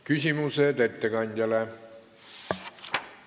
Küsimused ettekandjale.